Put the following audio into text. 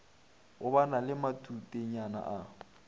go ba le matutenyana a